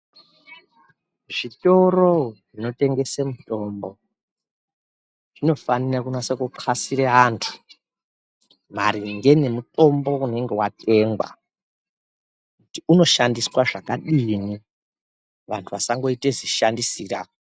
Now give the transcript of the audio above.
Zvitoro zvinotengese mitombo zvinofanira kunyasa kutqasira anthu maringe ngemutombo unenge watengwa kuti unoshandiswa zvakadini vanthu vasangoita zishandisirwa.